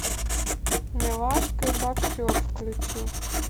милашка и боксер включи